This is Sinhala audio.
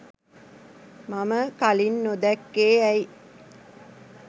මම කලින් නොදැක්කේ ඇයි?